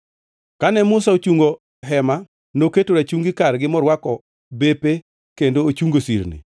Kane Musa ochungo Hema noketo rachungi kargi morwako bepe kendo ochungo sirni.